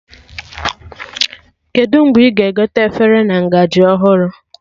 Kedụ mgbe ị ga-egote efere a ngaji ọhụrụ